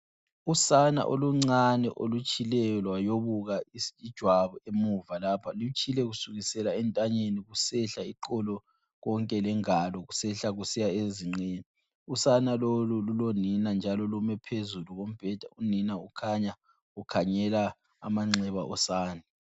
Usana oluncane olutshileyo lwayobuka ijwabu emuva lapha lutshile kusukisela entanyeni kusehla eqolo konke lengalo kusehla kusiya ezinqeni. Usana lolo lulonina njalo lume phezulu kombheda njalo unina ukhanya ukhangela amanxeba osane.